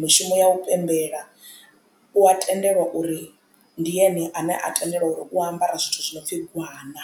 mishumo ya u pembela u a tendelwa uri ndi ene ane a tendelwa u ambara zwithu zwi no pfhi gwana.